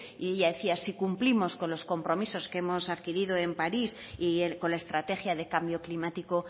y ella decía si cumplimos con los compromisos que hemos adquirido en parís y con la estrategia de cambio climático